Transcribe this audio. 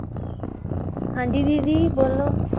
ਹਾਂਜੀ ਦੀਦੀ ਬੋਲੋ?